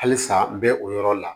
Halisa n bɛ o yɔrɔ la